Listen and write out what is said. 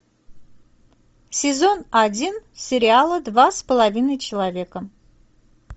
сезон один сериала два с половиной человека